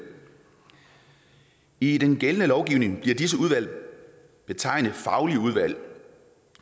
i den gældende lovgivning bliver disse udvalg betegnet som faglige udvalg